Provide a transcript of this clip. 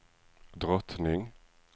drottning